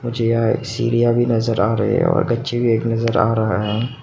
मुझे यहां सीढ़ियां भी नजर आ रहे और गच्चे भी नज़र आ रहा है।